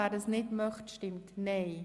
wer das nicht möchte, stimmt nein.